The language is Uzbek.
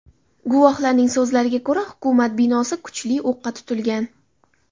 Guvohlarning so‘zlariga ko‘ra hukumat binosi kuchli o‘qqa tutilgan .